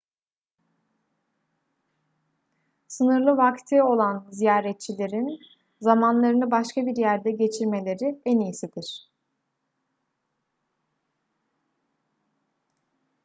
sınırlı vakti olan ziyaretçilerin zamanlarını başka bir yerde geçirmeleri en iyisidir